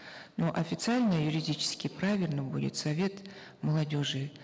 но официально и юридически правильно будет совет молодежи